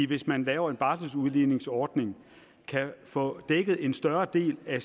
hvis man laver en barseludligningsordning kan få dækket en større del af